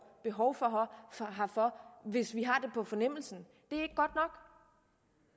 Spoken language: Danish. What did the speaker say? behov herfor hvis vi har det på fornemmelsen